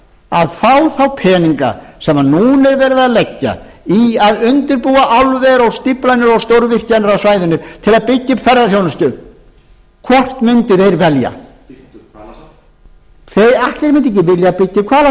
að fá þá peninga sem að nú er verið að leggja í að undirbúa álver og stofnanir og stórvirkjanir á svæðinu til að byggja upp ferðaþjónustu hvort mundu þeir velja